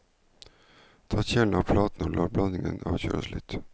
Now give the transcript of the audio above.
Ta kjelen av platen og la blandingen avkjøles litt.